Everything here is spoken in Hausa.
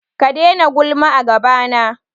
Ka daina gulma a gabana.